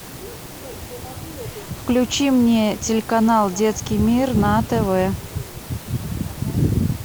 включи мне телеканал детский мир на тв